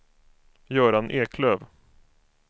Göran Eklöf